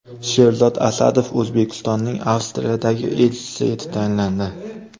Sherzod Asadov O‘zbekistonning Avstriyadagi elchisi etib tayinlandi.